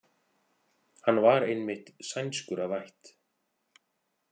Hann var einmitt sænskur að ætt.